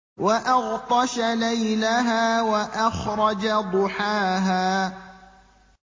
وَأَغْطَشَ لَيْلَهَا وَأَخْرَجَ ضُحَاهَا